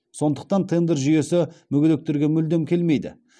сондықтан тендер жүйесі мүгедектерге мүлдем келмейді